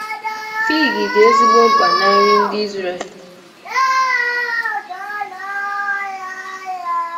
Fig dị ezigbo mkpa ná nri ndị Izrel.